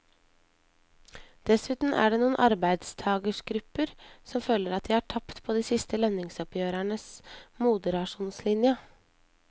Dessuten er det noen arbeidstagergrupper som føler at de har tapt på de siste lønnsoppgjørenes moderasjonslinje.